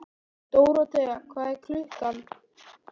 Dóróthea, hvað er klukkan?